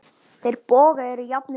Þeir bógar eru jafnan tveir.